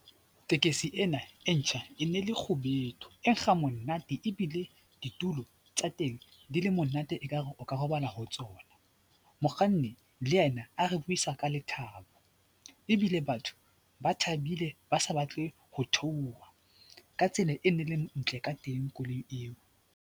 Tekesi ena e ntjha e ne le kgubedu e nkga monate ebile ditulo tsa teng di le monate ekare o ka robala ho tsona. Mokganni le yena a re buisa ka lethabo ebile batho ba thabile ba sa batle ho theoha ka tsela e ne le ntle ka teng koloi eo.